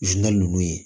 nunnu ye